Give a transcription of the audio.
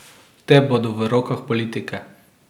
Te bodo v rokah politike.